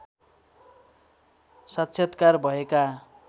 साक्षात्कार भएका